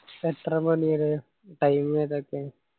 എത്ര മണി വരെ time ഏതാ പ്പോ